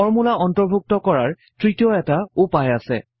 formula অন্তৰ্ভুক্ত কৰাৰ তৃতীয় এটা উপায় আছে